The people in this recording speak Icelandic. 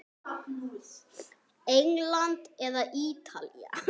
England eða Ítalía?